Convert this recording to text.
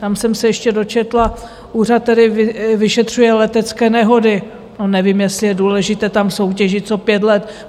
Tam jsem se ještě dočetla - úřad, který vyšetřuje letecké nehody - to nevím, jestli je důležité tam soutěžit co pět let.